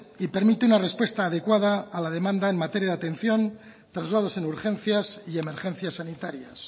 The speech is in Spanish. y permite una respuesta adecuada a la demanda en materia de atención traslados en urgencias y emergencias sanitarias